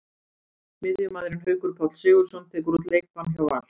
Miðjumaðurinn Haukur Páll Sigurðsson tekur út leikbann hjá Val.